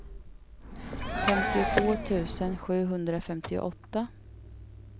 femtiotvå tusen sjuhundrafemtioåtta